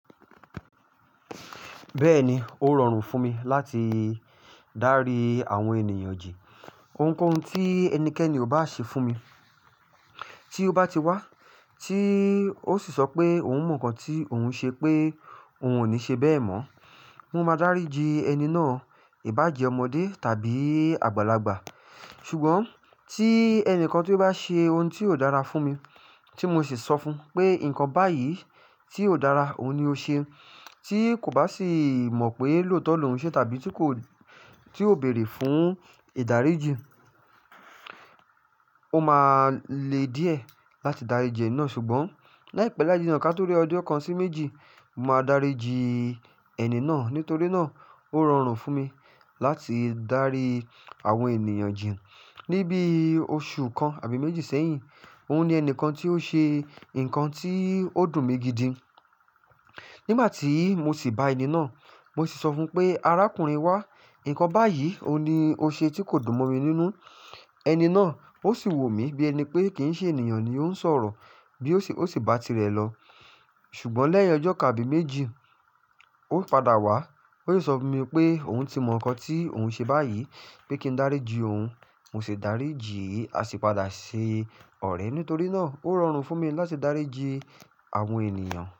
Bẹ́ẹ̀ni, ó rọrùn fún mi láti dárí àwọn ènìyàn ji Ohunkóhun tí ẹnikẹ́ni ò bá ṣe fún mi, tí ó bá ti wá, tí ó sì sọ pé òun mọ nǹkan tí òun ṣe pé òun ò ní ṣe bẹ́ẹ̀ mọ́, mo máa dáríji ẹni náà, ìbàje ọmọdé tàbí àgbàlagbà. Ṣùgbọ́n tí ẹni kan tí ó bá ṣe ohun tí ò dára fún mi, tí mo sì sọ fún pé nǹkan báyìí tí ò dára òun ni ó ṣe, tí kò bá sì mọ̀ pé lóòótọ́ ló ń ṣe tàbí tí kò, tí ó béèrè fún ìdáríjì, ó máa le díẹ̀ láti dáríji ẹni náà. Ṣùgbọ́n láìpẹ́ láijiná ká torí ọdún kan sí méjì, mo máa dáríji ẹni náà. Nítorí náà ó rọrùn fún mi láti dárí àwọn ènìyàn jẹ. Ni bí oṣù kan àbí méjì sẹ́yìn, òun ni ẹnìkan tí ó ṣe nǹkan tí ó dùn mi gidi. Nígbà tí mo sì bá ẹni náà, mo sì sọ fún pé, "Arákùnrin wá, nǹkan báyìí òun ni ó ṣe tí kò dùn mò mi nínú." ẹni náà ó sì wò mí bí ẹni pé kí n ṣe ènìyàn ni ó ń sọ̀rọ̀ bí ó sì, ó sì ba ti rẹ lọ. Ṣùgbọ́n lẹ́yìn ọjọ́ kan àbí méjì, ó padà wá. Ó sì sọ fún mi pé òun ti mọ nǹkan tí òun ṣe báyìí, pé kí n dáríji òun. Mo sì dáríji, a sì padà ṣe ọ̀rẹ́. Nítorí náà ó rọrùn fún mi láti dáríji àwọn ènìyàn.